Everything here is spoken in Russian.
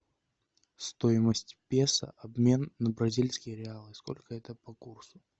стоимость песо обмен на бразильские реалы сколько это по курсу